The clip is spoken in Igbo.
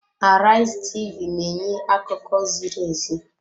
Arise TV na-enye akụkọ ziri ezi.